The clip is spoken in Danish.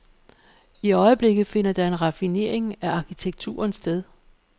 I øjeblikket finder der en raffinering af arkitekturen sted.